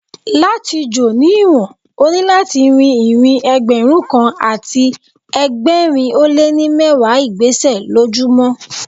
Láti jò ní ìwọ̀n, o ní láti rín ìrìn Ẹgbẹ̀rún kan àti ẹgbẹ̀rin ó lé ní mẹ́wàá ìgbésẹ̀ lójú mọ́.